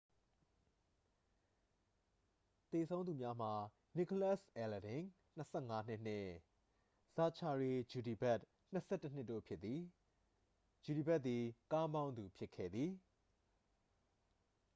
သေဆုံးသူများမှာ နီကိုလတ်စ် အဲလဒင် 25 နှစ်နှင့် ဇာချာရီ ကျူဒီဘက် 21 နှစ်တို့ဖြစ်သည် ကျူဒီဘက်သည် ကားမောင်းသူဖြစ်ခဲ့သည်